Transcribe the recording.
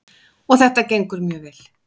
Og þetta gengur mjög vel.